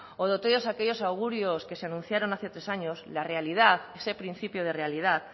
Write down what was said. o de todos aquellos augurios que se anunciaron hace tres años la realidad ese principio de realidad